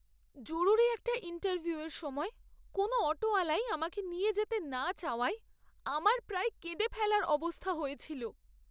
জরুরি একটা ইন্টারভিউয়ের সময় কোনও অটোওয়ালাই আমাকে নিয়ে যেতে না চাওয়ায় আমার প্রায় কেঁদে ফেলার অবস্থা হয়েছিল।